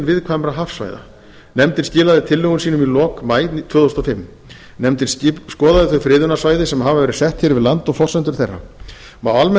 viðkvæmra hafsvæða nefndin skilaði tillögum sínum í lok maí tvö þúsund og fimm nefndin skoðaði þau friðunarsvæði sem hafa verið sett hér við land og forsendur þeirra má almennt